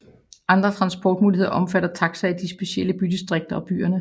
Andre transportmuligheder omfatter taxier i de specielle bydistrikter og i byerne